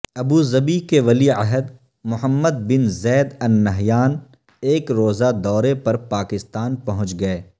Abu Dhabi کے ولی عہد محمد بن زید النہیان ایک روزہ دورے پر پاکستان پہنچ گئے